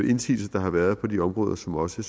indsigelser der har været på de områder som også